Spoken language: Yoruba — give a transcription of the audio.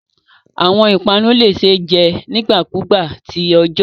Awọn ipanu le ṣee jẹ nigbakugba ti ọjọ